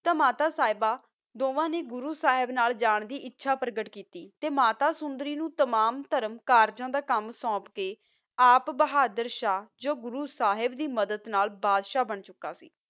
ਤਾ ਮਾਤਾ ਸਾਹਿਬਾ ਤਾ ਦੋਨਾ ਨਾ ਗੁਰੋ ਸਾਹਿਬ ਨਾਲ ਜਾਨ ਦੀ ਆਚਾ ਪ੍ਰਕ੍ਕੇਟ ਕੀਤੀ ਮਾਤਾ ਸੁੰਦਰੀ ਨੂ ਤਮਾਮ ਕਰ ਦਾ ਕਾਮ ਸੋਂਪ ਕਾ ਆਪ ਬੋਹਾਦਰ ਸ਼ਾਹ ਓਸ ਦੀ ਮਦਦ ਨਾਲ ਬਾਦਸ਼ਾਹ ਬਣ ਗਯਾ ਕੀ